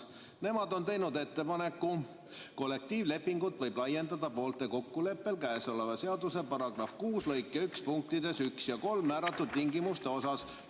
Nemad on teinud ettepaneku: "Kollektiivlepingut võib laiendada poolte kokkuleppel käesoleva seaduse § 6 lõike 1 punktides 1 ja 3 määratud tingimuste osas.